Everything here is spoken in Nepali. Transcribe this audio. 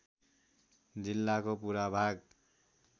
जिल्लाको पुरा भाग